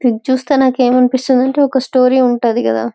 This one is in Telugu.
ఇది చూస్తాయి ఏమి అనిపిస్తోంది అంటే ఒక స్టోరీ ఉంటది కథ.